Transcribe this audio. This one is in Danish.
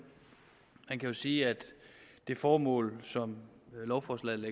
man kan jo sige at det formål som lovforslaget